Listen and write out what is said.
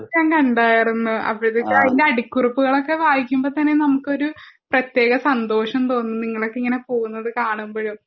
ഞാൻ കണ്ടാർന്നു അപ്പോത്തേക്കും അതിൻ്റെ അടിക്കുറിപ്പുകൾ ഒക്കെ വായിക്കുമ്പോ തന്നെ നമുക്കൊരു പ്രത്യേക സന്തോഷം തോന്നും നിങ്ങളൊക്കെ ഇങ്ങനെ പോകുന്നത് കാണുമ്പോഴും